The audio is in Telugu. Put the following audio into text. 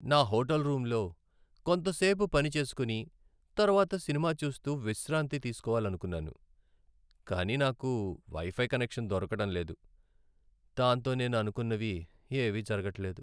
నా హోటల్ రూంలో కొంత సేపు పని చేసుకుని తర్వాత సినిమా చూస్తూ విశ్రాంతి తీసుకోవాలనుకున్నాను, కానీ నాకు వైఫై కనెక్షన్ దొరకడంలేదు, దాంతో నేను అనుకున్నవి ఏవీ జరగట్లేదు.